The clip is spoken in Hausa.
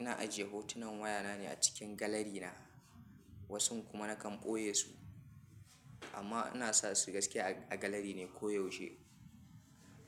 Ina ajiye hotunan waya na ne a cikin galari na. Wasun kuma nakan ɓoye su amma ina su gaskiya a galari ne ko yaushe.